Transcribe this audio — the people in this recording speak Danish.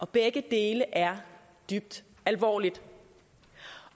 begge dele er dybt alvorligt